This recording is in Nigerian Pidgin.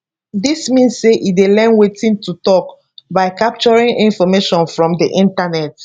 dis mean say e dey learn wetin to tok by capturing information from di internet